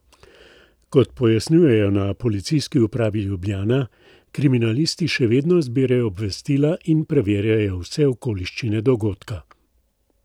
Kot pojasnjujejo na Policijski upravi Ljubljana, kriminalisti še vedno zbirajo obvestila in preverjajo vse okoliščine dogodka.